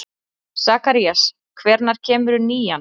Sakarías, hvenær kemur nían?